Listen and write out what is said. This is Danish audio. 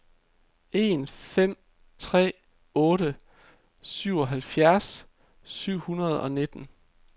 en fem tre otte syvoghalvfjerds syv hundrede og nitten